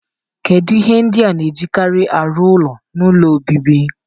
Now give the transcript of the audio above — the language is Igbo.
Kedu ihe ndị a na-ejikarị arụ ụlọ n'ụlọ obibi?